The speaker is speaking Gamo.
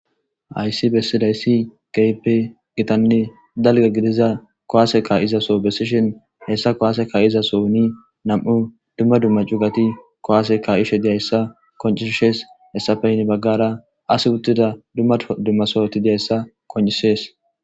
ayssi bessidayssi gaype gitanni dalga gidiza kowaaseka izaso bessishin hessa kowaaseka izaso uni nam7u dumma dumma cugati kowaaseka ishe diyayssa koncishshes hessafeynni baggara as uttida dumma dummasooti diyayssa koncisees